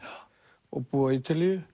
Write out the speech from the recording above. og búið á Ítalíu